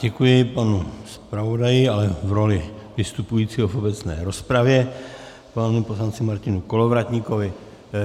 Děkuji panu zpravodaji, ale v roli vystupujícího v obecné rozpravě, panu poslanci Martinu Kolovratníkovi.